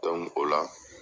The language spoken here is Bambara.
la